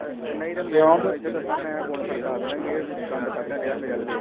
ਤੇ ਨਹੀਂ ਤੇ ਨੇ ਹੁਣ ਦੱਸਾਂ ਮੈ ਫੋਨ ਖੜ੍ਹਕਾ ਦੇਣੇ ਦੇਣਾ ਈ ਇਹ ਦੰਦ ਕਢਣ ਦਿਆ ਮੇਰੇ ਵਲ ਵੇਖ ਕੇ